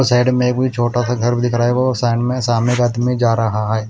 Side में कोई छोटा सा घर भी दिख रा है वो साइड मे सामने एक आदमी जा रहा है।